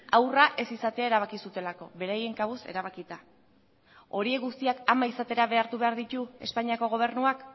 haurra ez izatea erabaki zutelako beraien kabuz erabakita horiek guztiak ama izatera behartu behar ditu espainiako gobernuak